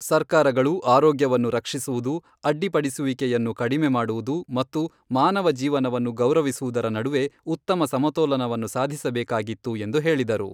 ಸರ್ಕಾರಗಳು ಆರೋಗ್ಯವನ್ನು ರಕ್ಷಿಸುವುದು, ಅಡ್ಡಿಪಡಿಸುವಿಕೆಯನ್ನು ಕಡಿಮೆ ಮಾಡುವುದು ಮತ್ತು ಮಾನವ ಜೀವನವನ್ನು ಗೌರವಿಸುವುದರ ನಡುವೆ ಉತ್ತಮ ಸಮತೋಲನವನ್ನು ಸಾಧಿಸಬೇಕಾಗಿತ್ತು ಎಂದು ಹೇಳಿದರು.